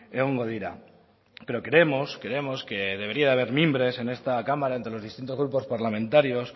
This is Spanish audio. egongo dira pero creemos creemos que debería de haber mimbres en esta cámara entre los distintos grupos parlamentarios